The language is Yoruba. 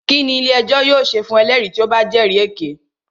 Kínní ilé ẹjọ́ yóò ṣe fún ẹlẹ́rìí tí o bá jẹ́rì èké?